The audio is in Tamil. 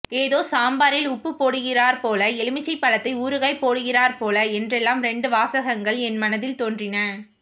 ஏதோ சாம்பாரில் உப்புப் போடுகிறாற் போல எலுமிச்சைப் பழத்தை ஊறுகாய் போடுகிறாற்போல என்றெல்லாம் ரெண்டு வாசகங்கள் என் மனதில் தோன்றின